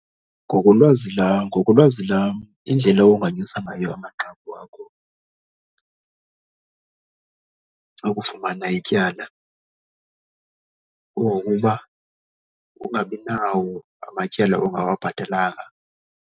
Ngokolwazi ngokolwazi lam indlela onganyusa ngayo amanqaku akho okufumana ityala kungokuba ungabi nawo amatyala ongawabhatalanga.